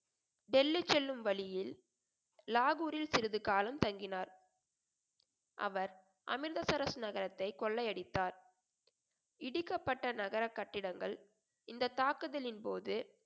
டெல்லி செல்லும் வழியில் லாகூரில் சிறிது காலம் தங்கினார் அவர் அமிர்தசரஸ் நகரத்தை கொள்ளையடித்தார் இடிக்கப்பட்ட நகர கட்டிடங்கள் இந்த தாக்குதலின்போது